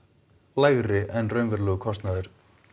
lægri en raunverulegur kostnaður